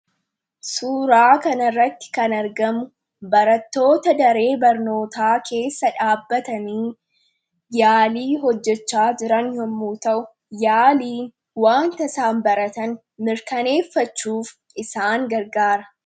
suuraa kanirratti kan argamu baratoota daree barnootaa keessa dhaabbatanii yaalii hojjechaa jiran yommuu ta'u yaaliin wanta isaan isaan baratan mirkaneeffachuuf isaan gargaara.